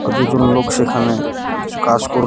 আর দুজন লোক সেখানে কিছু কাজ কর--